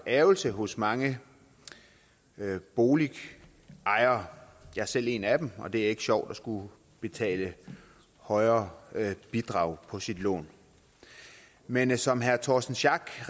ærgrelse hos mange boligejere jeg er selv en af dem og det er ikke sjovt at skulle betale et højere bidrag på sit lån men som herre torsten schack